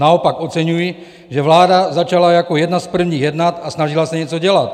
Naopak oceňuji, že vláda začala jako jedna z prvních jednat a snažila se něco dělat.